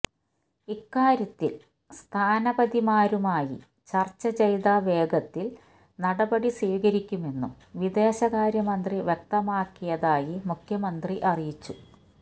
ഇക്കാര്യത്തില് സ്ഥാനപതിമാരുമായി ചര്ച്ച ചെയ്ത വേഗത്തില് നടപടി സ്വീകരിക്കുമെന്നും വിദേശകാര്യമന്ത്രി വ്യക്തമാക്കിയതായി മുഖ്യമന്ത്രി അറിയിച്ചു